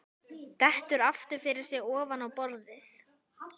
Dettur aftur fyrir sig ofan á borðið.